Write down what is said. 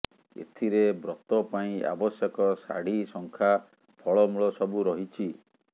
ଏଥିରେ ବ୍ରତ ପାଇଁ ଆବଶ୍ୟକ ଶାଢ଼ୀ ଶଙ୍ଖା ଫଳମୂଳ ସବୁ ରହିଛି